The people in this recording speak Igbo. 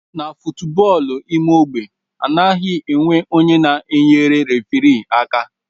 Na foootbọọlụ ime ogbe adighi enwe onye na eyere referi aka.